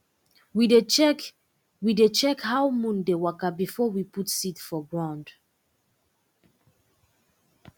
we dey check we dey check how moon dey waka before we put seed for ground